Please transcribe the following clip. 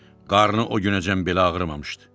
Qarnı o günəcən belə ağrımamışdı.